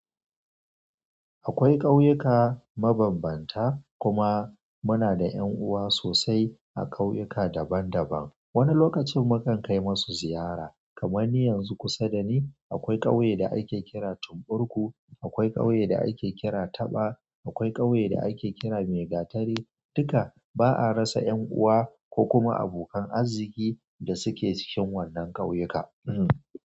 Akwai ƙauyuka mabambanta kuma muna da ƴan'uwa sosai a ƙauyuka daban-daban. Wani lokacin mu kan kai masu ziyara. Kaman ni yanzu kusa dani akwai ƙauye da ake kira Tumburku, akwai ƙauye da ake kira Taba, akwai ƙauye da ake kira Maigatari. Duka ba'a rasa ƴan'uwa ko kuma abokan arziki da suke cikin wannan ƙauyuka.